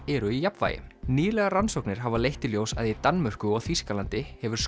eru í jafnvægi nýlegar rannsóknir hafa leitt í ljós að í Danmörku og Þýskalandi hefur